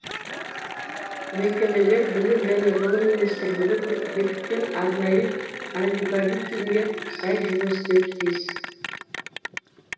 мекемелер білім және ғылым министрлігі бекіткен арнайы алгоритмге сай жұмыс істеуі тиіс